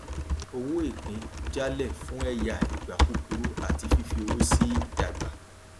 owó ìpín jalè fún ẹyà ìgbà kúkúrú àti fífi owó sí ìdàgbà